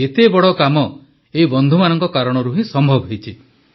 ଏତେ ବଡ଼ କାମ ଏହି ବନ୍ଧୁମାନଙ୍କ କାରଣରୁ ହିଁ ସମ୍ଭବ ହୋଇଛି